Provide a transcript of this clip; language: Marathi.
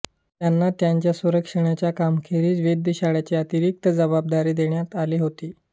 त्यांना त्यांच्या सर्वेक्षणाच्या कामाखेरीज वेधशाळीची अतिरिक्त जबाबदारी देण्यात आली होती